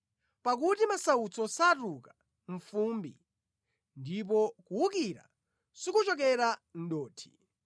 Pakuti masautso satuluka mʼfumbi, ndipo kuwukira sikuchokera mʼdothi.